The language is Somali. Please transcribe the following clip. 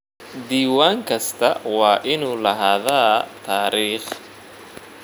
Diiwaan kastaa waa inuu lahaadaa taariikh.